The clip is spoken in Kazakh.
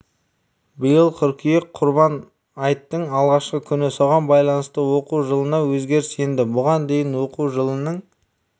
биыл қыркүйек құрбан айттың алғашқы күні соған байланысты оқу жылына өзгеріс енді бұған дейін оқу жылының